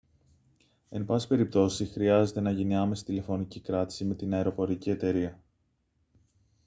εν πάση περιπτώσει χρειάζεται να γίνει άμεση τηλεφωνική κράτηση με την αεροπορική εταιρεία